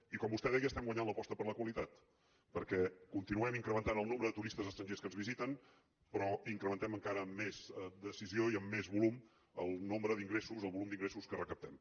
i com vostè deia estem guanyant l’aposta per la qualitat perquè continuem incrementant el nombre de turistes estrangers que ens visiten però incrementem encara amb més decisió i més volum el nombre d’ingressos el volum d’ingressos que recaptem